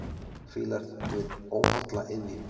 Fílar við óholla iðju.